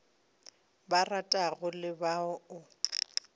ba ratago le ba o